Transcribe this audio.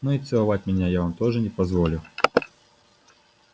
но и целовать меня я вам тоже не позволю